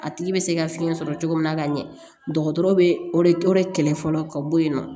A tigi bɛ se ka fiɲɛ sɔrɔ cogo min na ka ɲɛ dɔgɔtɔrɔ bɛ o de kɛlɛ fɔlɔ ka bɔ yen nɔ